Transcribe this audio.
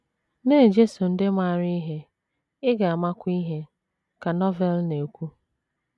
“ Na - ejeso ndị maara ihe, ị ga - amakwa ihe, ” ka Novel na - ekwu.